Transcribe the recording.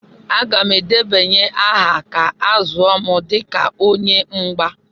Aga m edebanye aha ka a zụọ m dịka onye mgba.